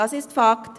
Das ist Fakt.